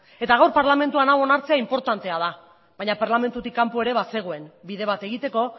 eta gaur parlamentuan hau onartzea inportantea da baina parlamentutik kanpo ere bazegoen bide bat egiteko